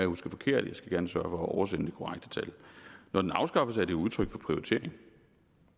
husker forkert jeg skal gerne sørge for at oversende det korrekte tal når den afskaffes er det jo udtryk for prioritering